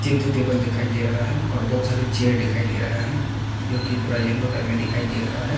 ये दो टेबल दिखाई दे रहा है और बहोत सारी चेयर दिखाई दे रहा है जो की थोड़ा येलो टाइप में दिखाई दे रहा है।